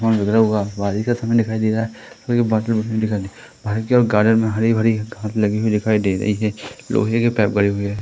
उतरा हुआ बारिश का समय दिखाई दे रहा है दिखाई दे बाहर की ओर गार्डन में हरी-भरी घास लगी हुई दिखाई दे रही है लोहे के पाइप बने हुए है।